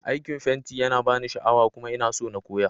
Aikin fenti yana bani sha'awa kuma ina so na koya.